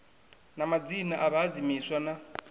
na madzina a vhahadzimiswa na